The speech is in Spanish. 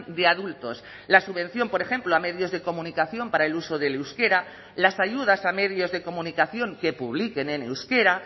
de adultos la subvención por ejemplo a medios de comunicación para el uso del euskera las ayudas a medios de comunicación que publiquen en euskera